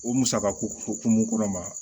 O musakako hukumu kɔnɔ